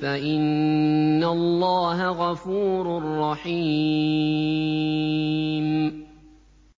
فَإِنَّ اللَّهَ غَفُورٌ رَّحِيمٌ